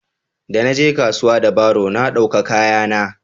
da na je kasuwa da baro na dauka kaya na